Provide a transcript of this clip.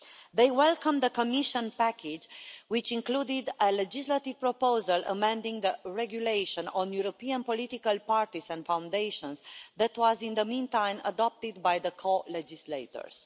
They welcomed the Commission package, which included a legislative proposal amending the regulation on European political parties and foundations, which was in the meantime adopted by the co-legislators.